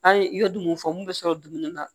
An ye i ye dumuni fɔ mun bɛ sɔrɔ dumuni na